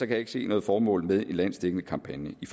jeg ikke se noget formål med en landsdækkende kampagne i